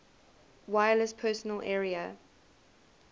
wireless personal area